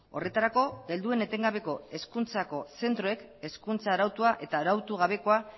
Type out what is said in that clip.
horretarako helduen etengabeko hezkuntzako zentroek hezkuntza arautua eta arautu gabekoa